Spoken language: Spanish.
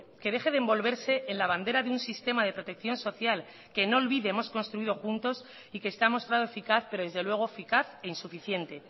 que deje de envolverse en la bandera de un sistema de protección social que no olvide hemos construido juntos y que está mostrado eficaz pero desde luego eficaz e insuficiente